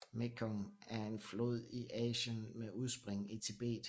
Mekong er en flod i Asien med udspring i Tibet